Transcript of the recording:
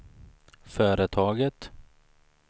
företaget